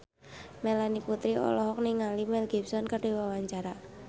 Melanie Putri olohok ningali Mel Gibson keur diwawancara